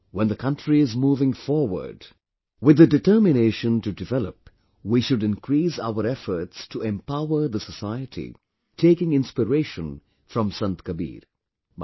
Today, when the country is moving forward with the determination to develop, we should increase our efforts to empower the society, taking inspiration from Sant Kabir